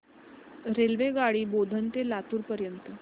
रेल्वेगाडी बोधन ते लातूर पर्यंत